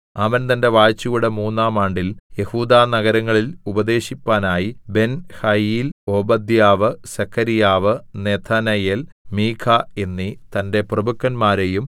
അവൻ തന്റെ വാഴ്ചയുടെ മൂന്നാം ആണ്ടിൽ യെഹൂദാ നഗരങ്ങളിൽ ഉപദേശിപ്പാനായി Benhail Obadiah Zechariah Nethanel Micah എന്നീ തന്റെ പ്രഭുക്കന്മാരെയും